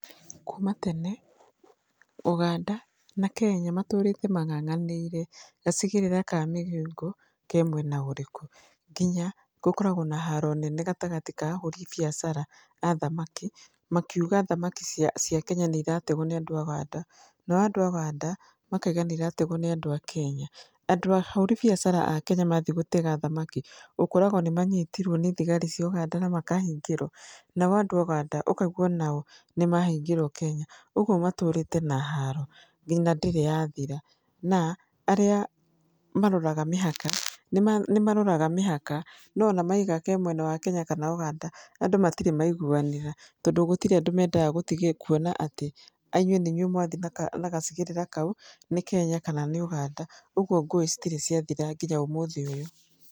Kuma tene, Ũganda na Kenya matũrĩte mang'ang'anire gacigĩrĩra ka Migingo ke mwena ũrĩkũ. Ngĩnya gũkoragwo na haro nene gatagatĩ ka ahũri biacara a thamaki makiuga thamaki cia Kenya nĩ irategwo nĩ andũ a Ũganda, nao andũ a Ũganda makauga nĩ irategwo nĩ andũ a Kenya. Andũ ahũri biacara Kenya mathiĩ gũtega thamaki, ũkoraga nĩ manyitirwo nĩ thigari cia Ũganda na makahingĩrwo, nao andũ a Ũganda makahingĩrũo Kenya. Ũguo matũrĩte na haro nginya ndĩrĩ yathira, na arĩa maroraga mĩhaka nĩ maroraga mĩhaka, no ona mauga ke mwena wa Kenya kana Ũganda andũ matirĩ maiguanĩra, tondũ gũtirĩ andũ mendaga kuona atĩ inyuĩ nĩ inyuĩ mwathiĩ na gacigĩrĩra kau, nĩ Kenya kana nĩ Ũganda, ũguo ngũĩ citirĩ ciathira nginya ũmũthĩ ũyũ.